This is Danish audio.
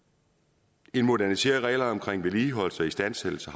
det modernisere reglerne omkring vedligeholdelse og istandsættelse